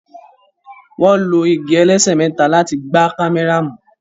wón ló ìgi ẹlẹsẹ méta láti gbà kámẹ́rà mú